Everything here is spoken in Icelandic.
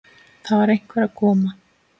Það var einhver að koma!